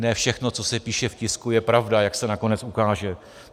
Ne všechno, co se píše v tisku, je pravda, jak se nakonec ukáže.